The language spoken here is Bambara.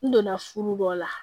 N donna furu dɔ la